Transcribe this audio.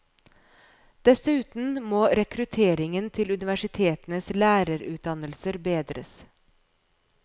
Dessuten må rekrutteringen til universitetenes lærerutdannelser bedres.